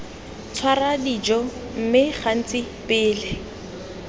tshwara dijo mme gantsi pele